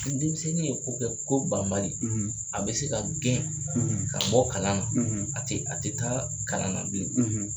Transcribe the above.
Ni denmisɛnnin ye ko kɛ ko banbali a bɛ se ka gɛn ka bɔ kalan na a tɛ a tɛ taa kalan na bilen.